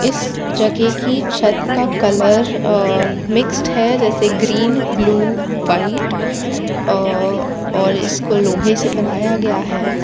इस जगह की छत का कलर अ मिक्सड है जैसे ग्रीन ब्लू व्हाइट अ और इसको लोहे से बनाया गया है।